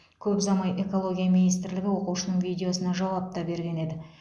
көп ұзамай экология министрлігі оқушының видеосына жауап та берген еді